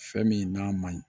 Fɛn min n'a ma ɲi